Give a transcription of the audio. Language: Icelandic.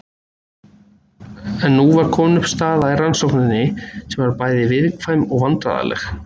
En nú var komin upp staða í rannsókninni sem var bæði viðkvæm og vandræðaleg.